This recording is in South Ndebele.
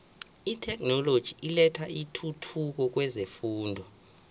itheknoloji ilethe intuthuko kwezefundo